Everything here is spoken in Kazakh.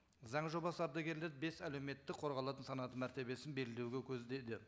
заң жобасы ардагерлерді бес әлеуметті қорғалатын санаты мәртебесін белгілеуді көздейді